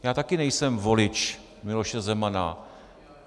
Já taky nejsem volič Miloše Zemana.